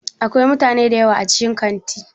Akwai mutane dayawa a cikin Kantin?